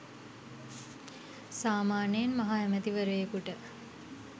සාමාන්‍යයෙන් මහ ඇමතිවරයෙකුට